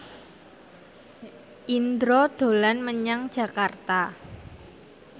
Indro dolan menyang Jakarta